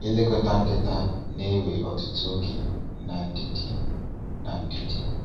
Ilekọta nkịta na-ewe ọtụtụ oge na ndidi. na ndidi.